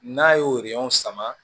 N'a y'o sama